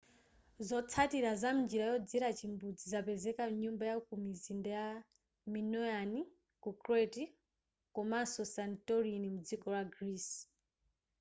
zotsalira za mnjira yodzera chimbudzi zapezeka mnyumba yakumizinda ya minoan ku crete komanso ku santorini mdziko la greece